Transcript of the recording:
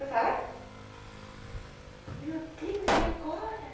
Eu falei... Meu Deus, e agora?